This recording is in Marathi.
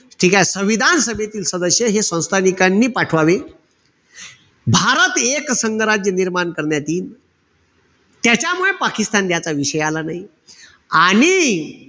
ठीकेय? संविधान सभेतील सदस्य हे संस्थानिकांनी पाठवावे. भारत एक संघ राज्य निर्माण करण्यात येईल. त्याच्यामुळे पाकिस्तान द्याचा विषय आला नाई. आणि,